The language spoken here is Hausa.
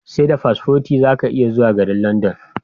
Seda paspoti zaka iya zuwa garin London